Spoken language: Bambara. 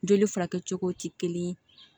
Joli furakɛ cogo tɛ kelen ye